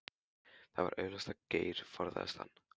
Það var augljóst að Geir forðaðist hann.